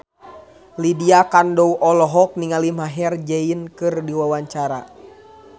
Lydia Kandou olohok ningali Maher Zein keur diwawancara